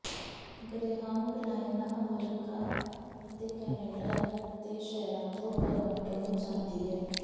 greyhound ਲਾਈਨਾਂ America ਅਤੇ Canada ਦੇ ਸ਼ਹਿਰਾਂ ਤੋਂ ਟੋਰਾਂਟੋ ਨੂੰ ਜਾਂਦੀ ਹੈ